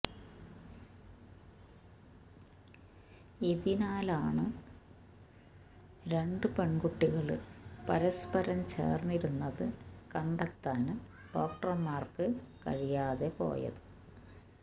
ഇതിനാലാണ് രണ്ട് പെണ്കുട്ടികള് പരസ്പരം ചേര്ന്നിരുന്നത് കണ്ടെത്താന് ഡോക്ടര്മാര്ക്ക് കഴിയാതെ പോയത്